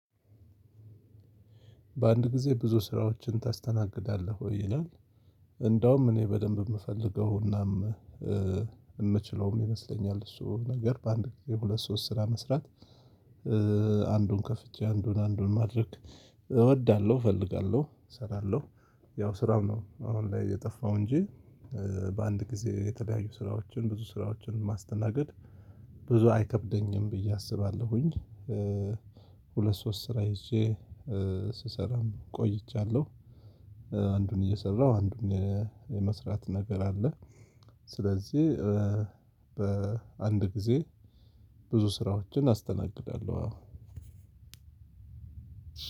በአንድ ጊዜ ብዙ ስራዎችን ታስተናግዳለህ ወይ ይላል? እንደውም እኔ በደንብ የምፈልገው እናም የምችለውም ይመስለኛል። እሱ ነገር በአንድ የሁለት ሶስት ስራ መስራት። አንዱን ከፍቼ አንዱን አንዱን ማድረግ እወዳለሁ እፈልጋለሁ እሰራለሁ። ያው ስራው ነው አሁን ላይ የጠፋው እንጅ። በአንድ ጊዜ የተለያዩ ስራዎችን ብዙ ስራዎችን ማስተናገድ ብዙ አይከብደኝም ብዬ አስባለሁኝ። ሁለት ሶስት ስራ ይዤ ስሰራም ቆይቻለሁ። አንዱን እየሰራሁ አንዱን የመስራት ነገር አለ። ስለዚህ በአንድ ጊዜ ብዙ ስራዎችን አስተናግዳለሁ። አዎ